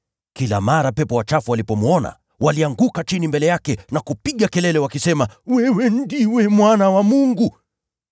Kila mara pepo wachafu walipomwona, walianguka chini mbele yake na kupiga kelele wakisema, “Wewe ndiwe Mwana wa Mungu.”